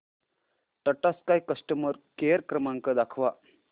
Tata Sky customer care क्रमांक दाखवा